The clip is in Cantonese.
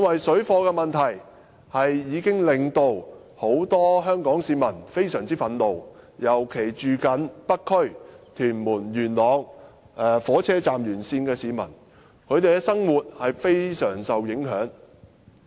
水貨問題已經令到很多香港市民非常憤怒，尤其是居住在北區、屯門或元朗港鐵站沿線的市民，他們的生活受到非常大的影響。